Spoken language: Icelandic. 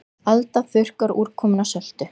Alda þurrkar úrkomuna söltu